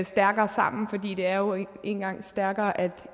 stærkere sammen for det er jo nu engang stærkere at